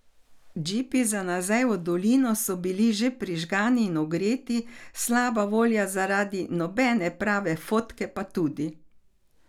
Džipi za nazaj v dolino so bili že prižgani in ogreti, slaba volja zaradi nobene prave fotke pa tudi.